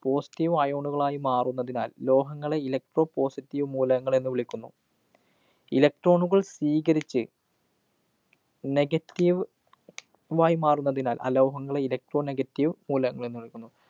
positive ion കള്‍ ആയി മാറുന്നതിനാല്‍, ലോഹങ്ങളെ electropositive മൂലകങ്ങള്‍ എന്നുവിളിക്കുന്നു. electron കള്‍ സ്വീകരിച്ച് negative യി മാറുന്നതിനാല്‍ അലോഹങ്ങളെ elecro negative മൂലകങ്ങള്‍ എന്നുവിളിക്കുന്നു.